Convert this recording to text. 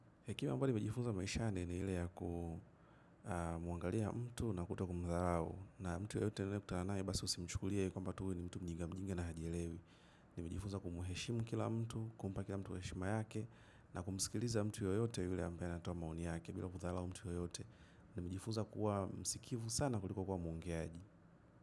Hekima ambayo nimejifuza maishani ni ile ya kumuangalia mtu na kutokumdharau. Na mtu yoyote ninayekutana basi usimchukulie kwamba tu ni mtu mjiga mjinga na hajielewi. Nimejifunza kumheshimu kila mtu, kumpa kila mtu heshima yake na kumsikiliza mtu yoyote yule ambaye anatoa maoni yake bila kudharau mtu yoyote. Nimejifunza kuwa msikivu sana kuliko kuwa mwongeaji.